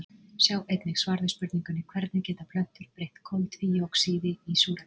Sjá einnig svar við spurningunni Hvernig geta plöntur breytt koltvíoxíði í súrefni?